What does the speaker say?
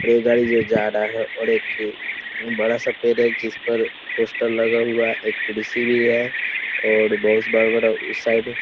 रेलगाड़ी जो जा रहा है और एक बड़ा सा पेड़ है जिस पर पोस्टर लगा हुआ है। एक कुर्सी भी है और बहुत बड़ा बड़ा उस साइड --